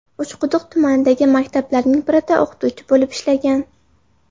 Uchquduq tumanidagi maktablarning birida o‘qituvchi bo‘lib ishlagan.